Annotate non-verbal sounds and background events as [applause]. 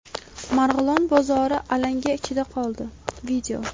Marg‘ilon bozori alanga ichida qoldi. [video]